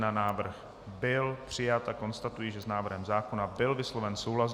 Návrh byl přijat a konstatuji, že s návrhem zákona byl vysloven souhlas.